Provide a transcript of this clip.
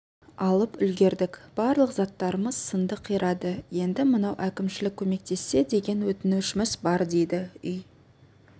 алып үлгердік барлық заттарымыз сынды қирады енді мынау әкімшілік көмектессе деген өтінішіміз бар дейді үй